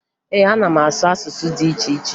Ee, ana m asụ asụsụ dị iche iche